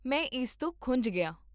ਮੈਂ ਇਸ ਤੋਂ ਖੁੰਝ ਗਿਆ